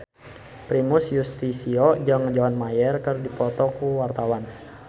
Primus Yustisio jeung John Mayer keur dipoto ku wartawan